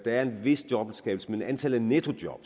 er en vis jobskabelse men antallet af nettojob